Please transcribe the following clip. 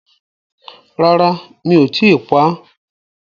Rárá mi ò tíi pá,